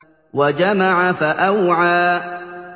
وَجَمَعَ فَأَوْعَىٰ